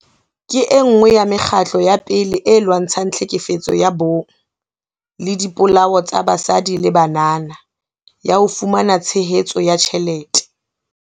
ke enngwe ya mekgatlo ya pele e lwantshang tlhekefetso ya bong le dipolao tsa basadi le banana, ya ho fumana tshehetso ya tjhelete.